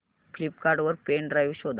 Flipkart वर pen drive शोधा